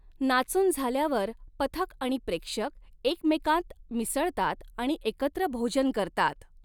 नाचून झाल्यावर पथक आणि प्रेक्षक एकमेकांत मिसळतात आणि एकत्र भोजन करतात.